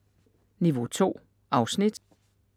Niveau 2: afsnit